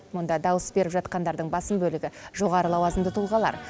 мұнда дауыс беріп жатқандардың басым бөлігі жоғары лауазымды тұлғалар